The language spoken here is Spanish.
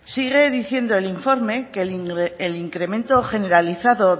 sigue diciendo el informe que el incremento generalizado